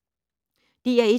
DR1